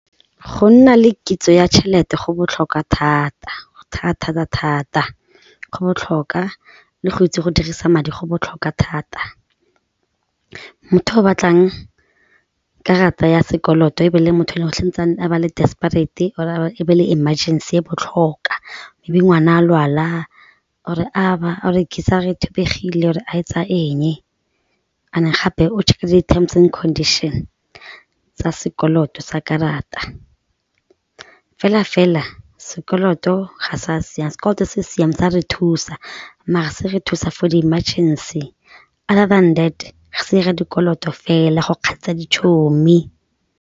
Go nna le kitso ya tšhelete go botlhokwa thata, thata-thata-thata go botlhokwa le go itse go dirisa madi go botlhokwa thata, motho yo o batlang karata ya sekoloto e be le motho le a ba le desparate-e or e be le emergency e botlhokwa e be ngwana a lwala or a ba, or geyser-a e thubegile or a etsa eng and gape o check-e le di terms and conditions tsa sekoloto sa karata, fela-fela sekoloto ga sa siama, sekoloto se se sa re thusa maar se re thusa for di-emergency other than that, re sa 'ira dikoloto fela go kgatlhisa .